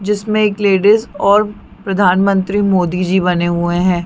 जिसमे एक लेडीस और प्रधानमंत्री मोदी जी बने हुए है।